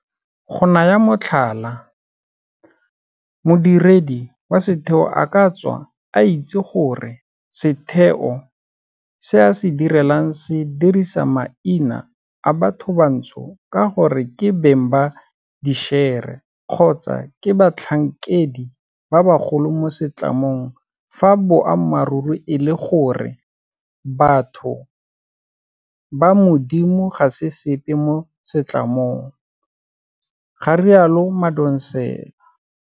Go naya motlhala, modiredi wa setheo a ka tswa a itse gore setheo se a se direlang se dirisa maina a bathobantsho ka gore ke beng ba dišere kgotsa ke batlhankedi ba bagolo mo setlamong fa boammaruri e le gore batho ba modimo ga se sepe mo setlamong, ga rialo Madonsela.